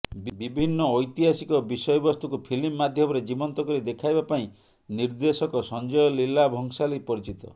ବିଭିନ୍ନ ଐତିହାସିକ ବିଷୟବସ୍ତୁକୁ ଫିଲ୍ମ ମାଧ୍ୟମରେ ଜୀବନ୍ତ କରି ଦେଖାଇବା ପାଇଁ ନିର୍ଦ୍ଦେଶକ ସଞ୍ଜୟ ଲୀଲା ଭଂସାଲୀ ପରିଚିତ